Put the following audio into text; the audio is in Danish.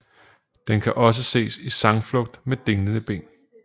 Den kan også ses i sangflugt med dinglende ben